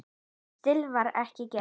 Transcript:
Slíkt var ekki gert.